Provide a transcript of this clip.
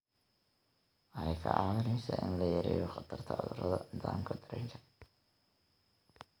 Waxay kaa caawinaysaa in la yareeyo khatarta cudurrada nidaamka dareenka.